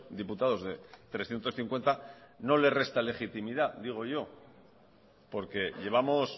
diputados de trescientos cincuenta no le resta legitimidad digo yo porque llevamos